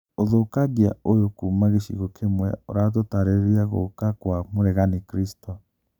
ũthũkangia ũyũ kuma gĩcigo kĩmwe ũratũtarĩrĩa gũka kwa mũregani Kristo